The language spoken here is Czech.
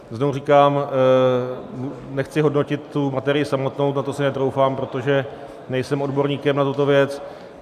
Znovu říkám, nechci hodnotit tu materii samotnou, na to si netroufám, protože nejsem odborníkem na tuto věc.